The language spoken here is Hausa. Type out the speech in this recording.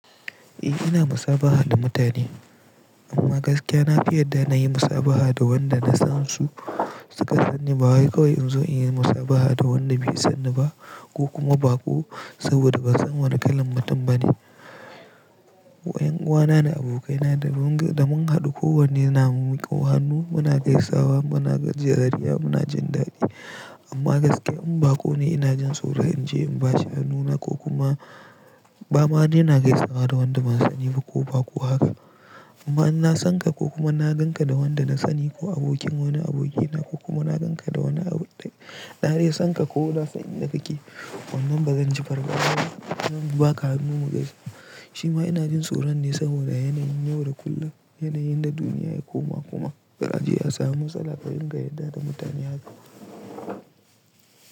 Eh ina musabaha da mutane amma gaskiya na fi yadda na yi musabaha da wanda na san su suka sani ba wai kawai in zo in yi musabaha da wanda bai sanni ba ko kuma baƙo saboda ban san wannan kalan mutum bane. Ko 'Yan uwana da abokaina da mun haɗu kowanne yana muko hannu muna gaisawa muna gajiyar dariya muna jin daɗi amma gaskiya in ba ko ne ina jin tsoro in je in bashi hannu na ko kuma ba ma ne na gaisawa da wanda ban sani ba ko baƙo haka. Amma in na san ka ko kuma na gan ka da wanda na sani ko abokin wani abokina ko kuma na gan ka da wani ɗa na dai san ka ko na san inda kake wannan ba zan ji fargana ba zan baka hannu mu gaisa shima ina jin tsoro ne saboda yanayin yau da kullum yanayin da duniya yake koma kuma za aje a samu matsala ka dinga yadda da mutane haka.